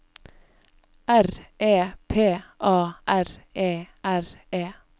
R E P A R E R E